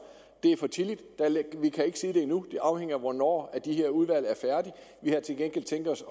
for tidligt vi kan ikke sige det endnu det afhænger af hvornår de her udvalg er færdige vi har til gengæld tænkt os